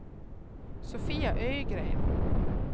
Sofia Ögren